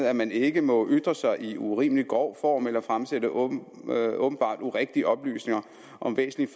at man ikke må ytre sig i urimelig grov form eller fremsætte åbenbart urigtige oplysninger om væsentlige